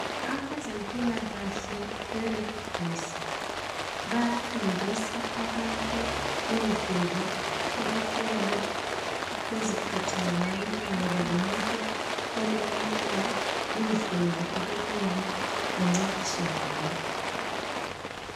Abezemphikahle be 'red cross ' bayafundisa abantu indlela okunele beziphathe ngayo, kungaba lomuntu olimaleyo indlela okumele ancediswe ngayo.